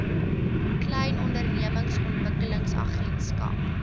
klein ondernemings ontwikkelingsagentskap